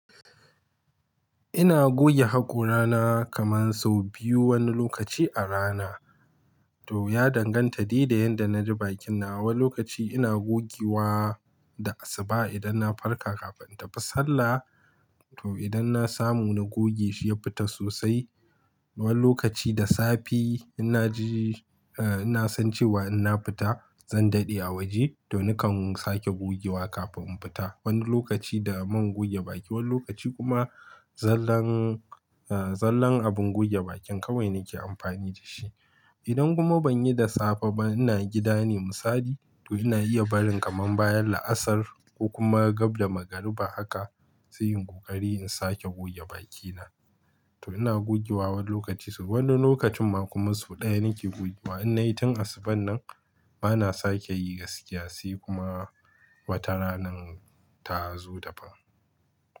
Ina goge hakora na kaman sau biyu wani lokaci a rana. To, ya danganta de da yanda na ji bakin na. Wani lokaci ina gogewa da asuba idan na farka kafin in tafi sallah. To, idan na samu na goge shi ya fita sosai. Wani lokaci da safe ina ji, eh ina san cewa in na fita zan daɗe a waje to nakan sake gogewa kafin in fita. Wani lokaci da man goge baki, wani lokaci kuma zallan, eh zallan abin goge bakin kawai nake amfani da shi. Idan kuma ban yi da safe ba ina gida ne musali to ina iya barin kaman baya la'asar ko kuma gab da magariba haka, sai in ƙoƙari in sake goge bakina. To ina gogewa wani lokaci sau, wani lokacin ma kuma sau ɗaya nake gogewa in na yi tun asuban nan bana sake yi gaskiya sai kuma wata ranan ta zo ta fa.